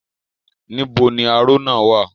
Níbo ni aró náà wà?